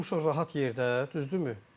Biz burda oturmuşuq rahat yerdə, düzdürmü?